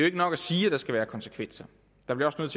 ikke nok at sige at der skal være konsekvenser der bliver rent